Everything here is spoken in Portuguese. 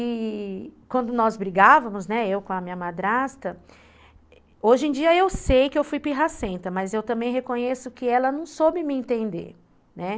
E quando nós brigávamos, eu com a minha madrasta, hoje em dia eu sei que eu fui pirracenta, mas eu também reconheço que ela não soube me entender, né.